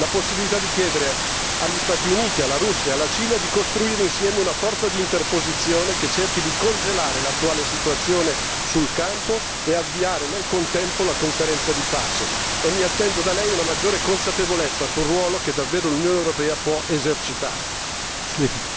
Le chiedo dunque di valutare la possibilità di chiedere agli Stati Uniti, alla Russia e alla Cina a costruire insieme una forza d'interposizione che cerchi di congelare l'attuale situazione sul campo e avviare nel contempo la conferenza di pace. Mi attendo da lei una maggiore consapevolezza del ruolo che l'Unione europea può davvero esercitare.